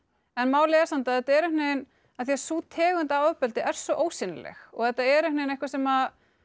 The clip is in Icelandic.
en málið er samt að þetta er einhvern veginn af því að sú tegund af ofbeldi er svo ósýnileg og þetta er eitthvað sem